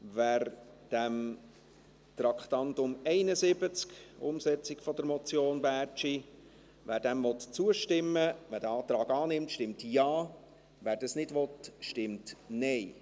Wer Traktandum 71, der Umsetzung der Motion Bärtschi , zustimmen will und diesen Antrag annimmt, stimmt Ja, wer das nicht will, stimmt Nein.